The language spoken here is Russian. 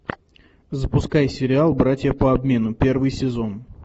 запускай сериал братья по обмену первый сезон